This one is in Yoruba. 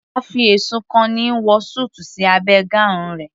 A fi ẹ̀sùn kan ni wọ súùtù sí abẹ́ gown rẹ̀